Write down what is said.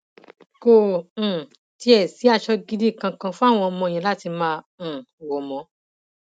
kò um tiẹ sí aṣọ gidi kankan fáwọn ọmọ yẹn láti máa um wọ mọ